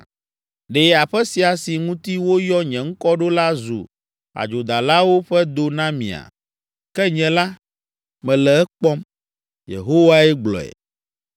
Ɖe aƒe sia si ŋuti woyɔ nye Ŋkɔ ɖo la zu adzodalawo ƒe do na mia? Ke nye la, mele ekpɔm!’ ” Yehowae gblɔe.